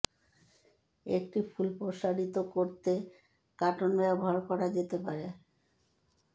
একটি ফুল প্রসারিত করতে কাটন ব্যবহার করা যেতে পারে